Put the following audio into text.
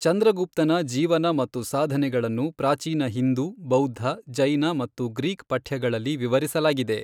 ಚಂದ್ರಗುಪ್ತನ ಜೀವನ ಮತ್ತು ಸಾಧನೆಗಳನ್ನು ಪ್ರಾಚೀನ ಹಿಂದೂ, ಬೌದ್ಧ, ಜೈನ ಮತ್ತು ಗ್ರೀಕ್ ಪಠ್ಯಗಳಲ್ಲಿ ವಿವರಿಸಲಾಗಿದೆ.